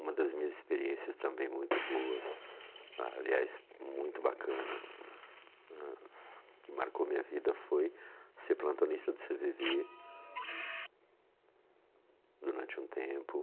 Uma das minhas experiências também muito boas, aliás, muito bacana né, que marcou minha vida foi ser plantonista do cê vê vê durante um tempo.